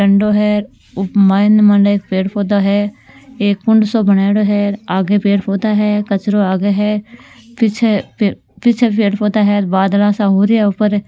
डाँडो है उप माय न अ पेड़ पोधा है एक कुंड सो बना योडो है आगे पेड़ पोधे है कचरो आगे है पीछे अ पीछे पेड़ पोधा है बादला सा हो रया ऊपर अ --